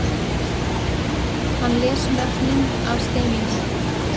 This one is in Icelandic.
Hann les nöfnin af steininum